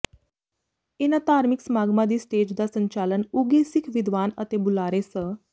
ਇਨਾਂ ਧਾਰਮਿਕ ਸਮਾਗਮਾਂ ਦੀ ਸਟੇਜ ਦਾ ਸੰਚਾਲਨ ਉਘੇ ਸਿੱਖ ਵਿਦਵਾਨ ਅਤੇ ਬੁਲਾਰੇ ਸ